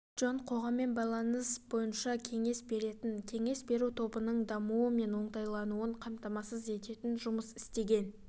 джон қоғаммен байланыс бойынша кеңес беретін кеңес беру тобының дамуы мен оңтайлануын қамтасмасыз ететін жұмыс істеген